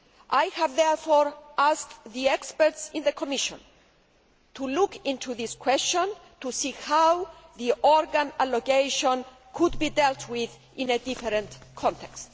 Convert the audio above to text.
I have therefore asked experts in the Commission to look into this question to see how organ allocation could be dealt with in a different context.